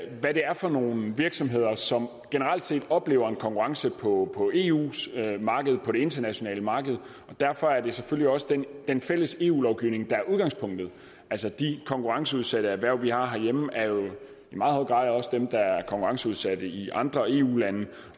hvad det er for nogle virksomheder som generelt set oplever en konkurrence på eus marked på det internationale marked og derfor er det selvfølgelig også den den fælles eu lovgivning der er udgangspunktet altså de konkurrenceudsatte erhverv vi har herhjemme er jo i meget høj grad også dem der er konkurrenceudsatte i andre eu lande